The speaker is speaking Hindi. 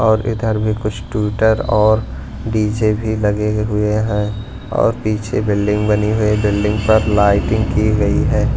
और इधर भी कुछ टवीटर और डीजे भी लगे हुए हैं और पीछे बिल्डिंग बनी हुई है बिल्डिंग पर लाइटिंग की गई है।